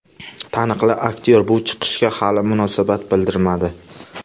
Taniqli aktyor bu chiqishga hali munosabat bildirmadi.